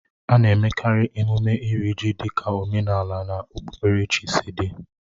A na-emekarị emume Iri ji dịka omenala na okpukperechi sị dị